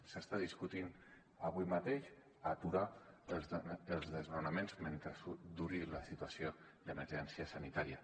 s’està discutint avui mateix aturar els desnonaments mentre duri la situació d’emergència sanitària